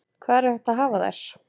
Hvar er hægt að hafa þær?